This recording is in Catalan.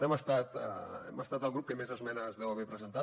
hem estat el grup que més esmenes deu haver presentat